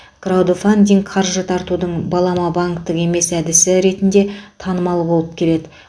краудефандинг қаржы тартудың балама банктік емес әдісі ретінде танымал болып келеді